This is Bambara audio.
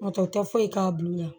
N'o tɛ u tɛ foyi k'a bulɔn na